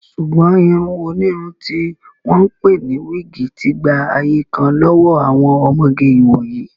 Ṣùgbọ́n irun onírun tí wọ́n ń pè ní wíìgì ti gba ayé kan lọ́wọ́ àwọn ọmọge ìwòyí